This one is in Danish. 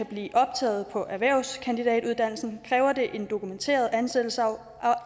blive optaget på erhvervskandidatuddannelsen kræver det en dokumenteret ansættelsesaftale